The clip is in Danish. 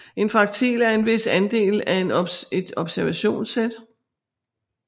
En fraktil er en vis andel af et observationssæt